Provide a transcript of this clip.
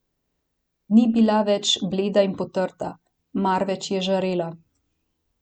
Ni bila več bleda in potrta, marveč je žarela.